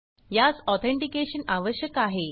यास ऑथेनटीकेशन आवश्यक आहे